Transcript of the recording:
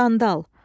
Qandal.